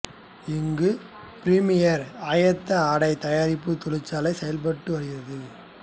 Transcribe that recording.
இங்கு பிரிமியர் ஆயத்த ஆடை தயாரிப்பு தொழிற்சாலை செயல்பட்டு வருகிறது